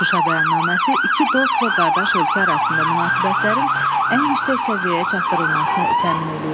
Şuşa bəyannaməsi iki dost və qardaş ölkə arasında münasibətlərin ən yüksək səviyyəyə çatdırılmasını təmin eləyir.